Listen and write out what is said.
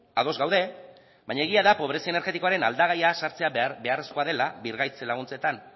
ados gaude baina egia da pobrezia energetikoaren aldagaia sartzea beharrezkoa dela birgaitze laguntzetan